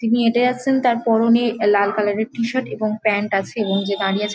তিনি হেটে আসছে তার পরনে লাল কালার -এর টি-শার্ট এবং প্যান্ট আছে এবং যে দাঁড়িয়ে ছে--